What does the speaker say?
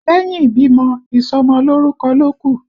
Lẹ́yìn ìbímọ, ìsọmọ lórúkọ ló kù